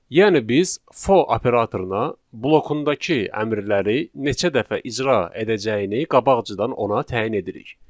Yəni biz for operatoruna blokundakı əmrləri neçə dəfə icra edəcəyini qabaqcadan ona təyin edirik.